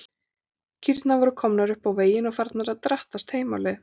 Kýrnar voru komnar upp á veginn og farnar að drattast heim á leið.